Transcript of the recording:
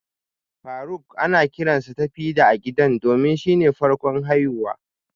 Faruk ana kiransa Tafidan a gida domin shine farkon haihuwa